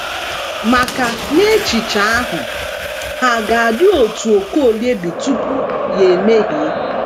maka, n’echiche ahụ, ha ga - adị otú Okolie dị tupu ya emehie.